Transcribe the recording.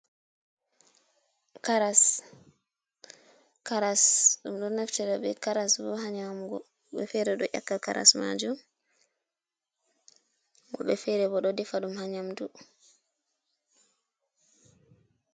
Karas. Karas ɗum ɗo naftida be karas bo haa nyamugo, woɓe fere ɗo ƴakka karas majum, woɓe fere bo ɗo defa ɗum haa nyamdu.